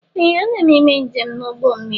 Ee! Ana m eme njem n'ụgbọ mmiri.